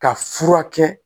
Ka furakɛ